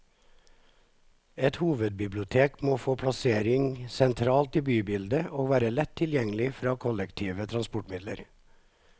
Et nytt hovedbibliotek må få en plassering sentralt i bybildet, og være lett tilgjengelig fra kollektive transportmidler.